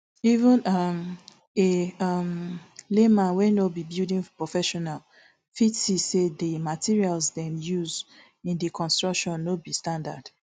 even um a um layman wey no be building professional fit see say di material dem use in di construction no be standard